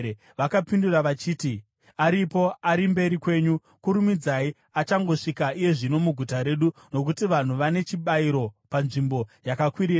Vakapindura vachiti, “Aripo. Ari mberi kwenyu. Kurumidzai achangosvika iye zvino muguta redu, nokuti vanhu vane chibayiro panzvimbo yakakwirira.